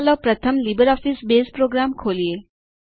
ચાલો પ્રથમ LibreOffice Base program ખોલીએ